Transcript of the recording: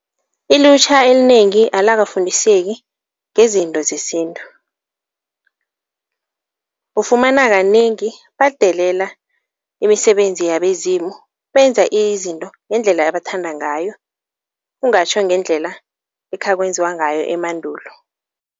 Ilutjha elinengi alakafundiseki ngezinto zesintu. Ufumana kanengi badelela imisebenzi yabezimu benza izinto ngendlela abathanda ngayo, kungatjho ngendlela ekhakwenziwa ngayo emandulo.